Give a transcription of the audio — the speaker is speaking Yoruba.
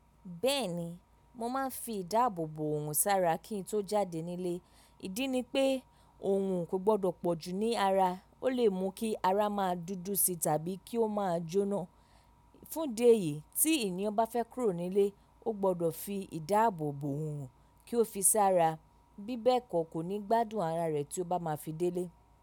Bẹ́ẹ̀ni, mo máa ń fi ìdáàbòbò òòrún sára kí n tó jáde nílé. Ìdí ni pé, òòrún kò gbọdọ̀ pọ̀ jù ní ara. Ó lè mú kí ara máa dúdú si tàbí kí ó máa jóná. Fún de èyí tí ènìyàn bá fẹ́ kúrò nílé, ó gbọdọ̀ fi ìdáàbòbò òòrún kí ó fi sára bí bẹ́ẹ̀ kọ́ kò ní gbádùn ara rẹ̀ tí ó bá máa fi délé.